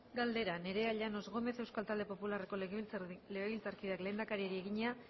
galdera nerea llanos gómez euskal talde popularreko legebiltzarkideak lehendakariari egina